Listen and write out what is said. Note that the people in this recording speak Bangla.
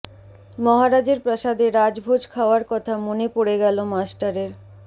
মহারাজের প্রাসাদে রাজভোজ খাওয়ার কথা মনে পড়ে গেল মাস্টারের